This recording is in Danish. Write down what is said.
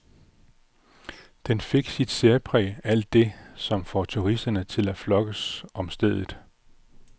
Den fik sit særpræg, alt det, som får turisterne til at flokkes til stedet.